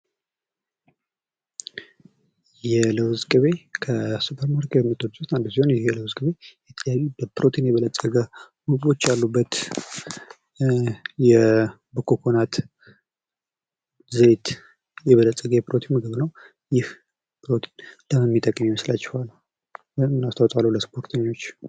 የለውዝ ቅቤ ከሱፐር ማርኬት ምርቶች ውስጥ አንዱ ሲሆን ይህ የለውዝ ቅቤ የተለያዩ በፕሮቲን የበለፀገ ምግቦች ያሉበት በኮኮናት ዘይት የበለፀገ የፕሮቲን ምግብ ነው ። ይህ ፕሮቲን ለምን ሚጠቅም ይመስላችኋል ወይም ምን አስተዋፅኦ አለው ለስፖርተኞች?